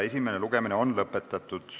Esimene lugemine on lõpetatud.